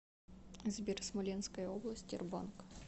сбер смоленская область тербанк